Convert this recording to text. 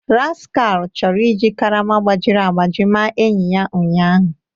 Rascahu chọrọ iji karama gbajiri agbaji maa enyi ya ụnyahụ